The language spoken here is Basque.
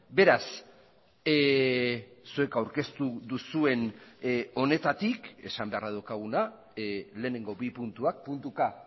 beraz zuek aurkeztu duzuen honetatik esan beharra daukaguna lehenengo bi puntuak puntuka